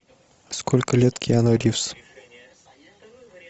сколько лет киану ривз